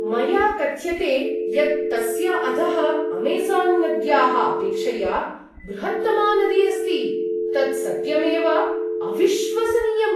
मया कथ्यते यत् तस्य अधः अमेज़ान्नद्याः अपेक्षया बृहत्तमा नदी अस्ति । तत् सत्यमेव अविश्वसनीयम्!